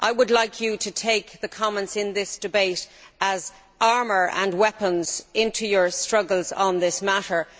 I would like you to take the comments in this debate as armour and weapons into your struggles on this matter.